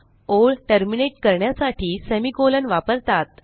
ओळ टर्मिनेट करण्यासाठी semi colon वापरतात